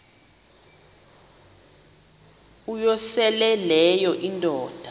uyosele leyo indoda